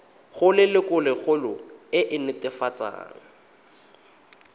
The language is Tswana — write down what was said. go lelokolegolo e e netefatsang